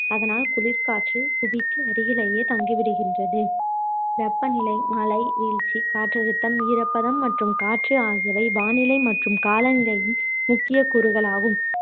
அதனால் குளிர்காற்று புவிக்கு அருகிலேயே தங்கிவிடுகின்றது வெப்பநிலை மழை வீழ்ச்சி காற்றழுத்தம் ஈரப்பதம் மற்றும் காற்று ஆகியவை வானிலை மற்றும் காலநிலையின்முக்கிய கூறுகளாகும்